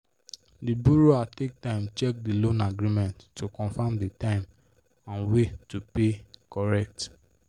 the borrower take time check the loan agreement to confirm the time and way to pay correct